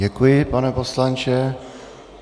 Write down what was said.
Děkuji, pane poslanče.